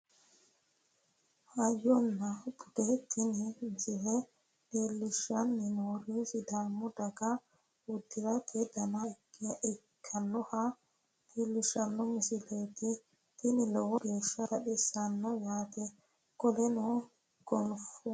Hayyonna bude tini misile leellisghshanni noohu sidaamu dagaha uddirate dana ikkinoha leellishshanno misileeti tinino lowo geeshsha baxissannote yaate qolonna gonfu